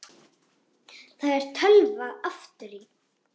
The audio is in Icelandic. Það er tölva aftur í.